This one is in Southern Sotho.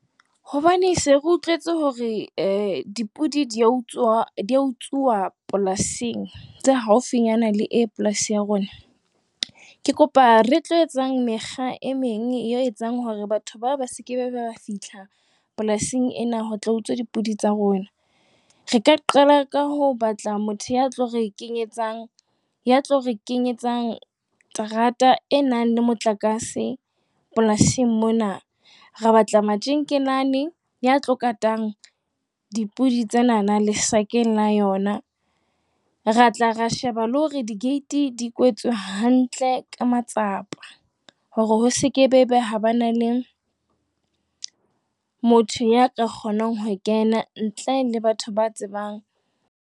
Hobane re se re utlwetse hore dipodi di a utsuwa dipolasing tse haufi le polasi ya rona, ke kopa re tlo etsang mekgwa e meng e tlo etsa hore batho bao ba seke ba fihla polasing ena ho tla utswa dipodi tsa rona. Re ka qala ka ho batla motho ya tlo re kenyetsang terata e nang le motlakase polasing mona, ra batla matjekelane ya tlang ho kata dipodi tsena lesakeng la tsona, re shebe le hore digate di kwetswe hantle ka matsapa hore ho seke ha ba le motho ya ka kgonang ho kena ntle le hore batho ba tsebe.